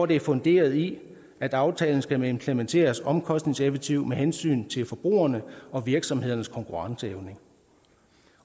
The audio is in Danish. det er funderet i at aftalen skal implementeres omkostningseffektivt med hensyn til forbrugerne og virksomhedernes konkurrenceevne